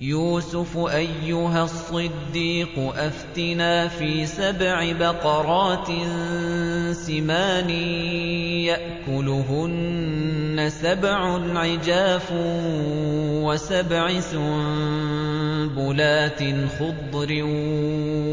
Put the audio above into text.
يُوسُفُ أَيُّهَا الصِّدِّيقُ أَفْتِنَا فِي سَبْعِ بَقَرَاتٍ سِمَانٍ يَأْكُلُهُنَّ سَبْعٌ عِجَافٌ وَسَبْعِ سُنبُلَاتٍ خُضْرٍ